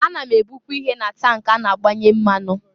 Ana m ebụkwa ihe na tank a na-agbanye mmanụ.